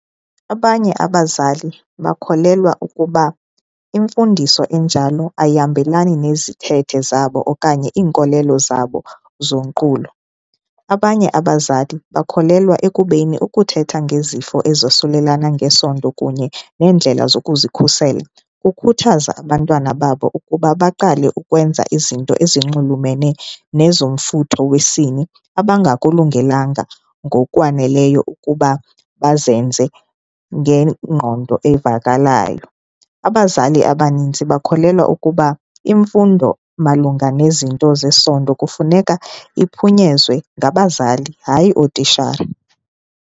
Abanye abazali bakholelwa ukuba imfundiso enjalo ayihambelani nezithethe zabo okanye iinkolelo zabo zonqulo. Abanye abazali bakholelwa ekubeni ukuthetha ngezifo ezosulelana ngesondo kunye neendlela zokuzikhusela kukhuthaza abantwana babo ukuba baqale ukwenza izinto ezinxulumene nezomfutho wesini abangakulungelanga ngokwaneleyo ukuba bazenze ngengqondo evakalayo. Abazali abaninzi bakholelwa ukuba imfundo malunga nezinto zesondo kufuneka iphunyezwe ngabazali hayi ootishala.